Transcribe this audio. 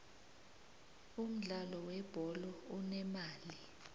umudlalo we bholo unemali